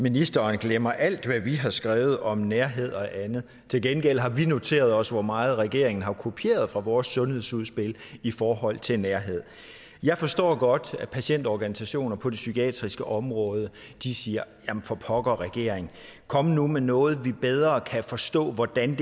ministeren glemmer alt hvad vi har skrevet om nærhed og andet til gengæld har vi noteret os hvor meget regeringen har kopieret fra vores sundhedsudspil i forhold til nærhed jeg forstår godt at patientorganisationer på det psykiatriske område siger jamen for pokker regering kom nu med noget vi bedre kan forstå hvordan